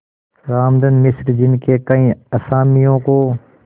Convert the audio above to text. रामधन मिश्र जिनके कई असामियों को